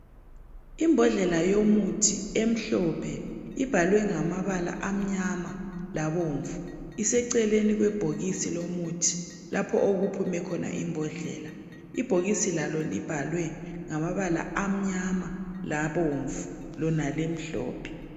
Imbodlela yomuthi omhlophe ,ibhalwe ngamabala amnyama labomnvu ,iseceleni kwebhokisi lomuthi lapho okuphume khona imbodlela. Ibhokisi lalo libhalwe ngamabala amnyama labomnvu lona limhlophe.